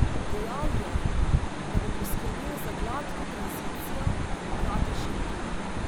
Dejal je, da bo poskbel za gladko tranzicijo v demokratičnem duhu.